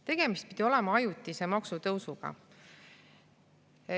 Tegemist pidi olema ajutise maksutõusuga.